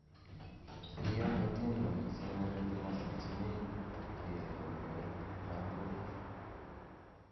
kiiyoku atindonik che ngering che mosingchinei kecheru koboit lakok